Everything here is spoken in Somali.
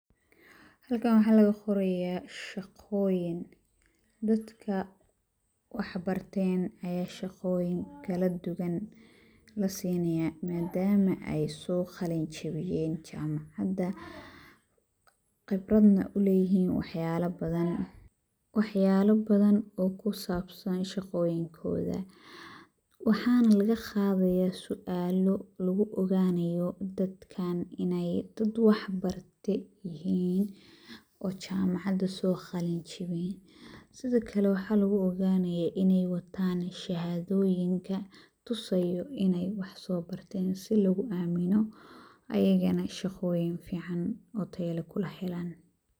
Halkan waxaa laga qorayaa shaqooyin. Dadka wax barteen ayaa shaqooyin kala duwan la siinayaa maadaam ay soo qalin jibiyeen jaamacad, qibradna u leeyihiin waxyaala badan. Waxyaala badan oo ku saabsan shaqooyinkooda. Waxaan laga qaadayaa suaalo lugu ogaanayo dadkaan inay dad wax barteen ay yihiin oo jaamacada soo qalin jibiyay. Sidhakale waxaa lugu ogaanayaa inay wataan shahaadooyinka tusayo inay wax soo barteen si lugu aamino ayigana shaqooyin ficaan oo taya leh kula helan.